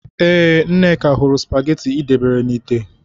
Ee, Nneka hụrụ spagetị ị debere na ite.